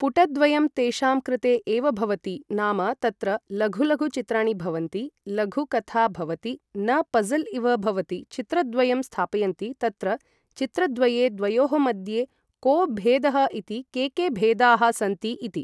पुटद्वयं तेषां कृते एव भवति नाम तत्र लघु लघु चित्रणि भवन्ति लघु कथा भवति न पज़ल् इव भवति चित्रद्वयं स्थापयन्ति तत्र चित्रद्वये द्वयोः मद्ये को भेदः इति के के भेदाः सन्ति इति